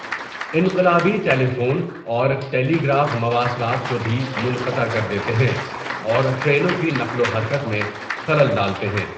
انقلابی telephone اور telegraph مواصلات کو بھی منقطع کر دیتے ہیں اور ٹرینوں کی نقل و حرکت میں خلل ڈالتے ہیں۔